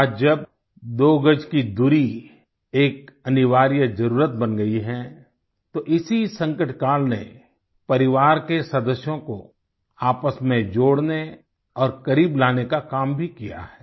आज जब दो गज की दूरी एक अनिवार्य जरुरत बन गई है तो इसी संकट काल ने परिवार के सदस्यों को आपस में जोड़ने और करीब लाने का काम भी किया है